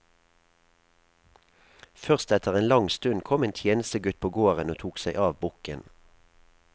Først etter en lang stund kom en tjenestegutt på gården og tok seg av bukken.